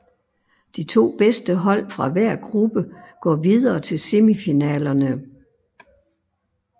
De to bedste hold fra hver gruppe går videre til semifinalerne